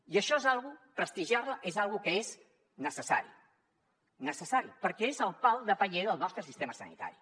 i prestigiar la és una cosa que és necessària és necessària perquè és el pal de paller del nostre sistema sanitari